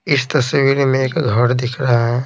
इस तस्वीर में एक घर दिख रहा है।